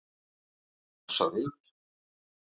Elsa Rut.